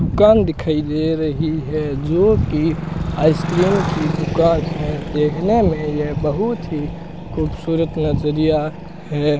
दुकान दिखाई दे रही है जो की आइसक्रीम की दुकान है देखने मे ये बहुत ही खूबसूरत नजरिया है।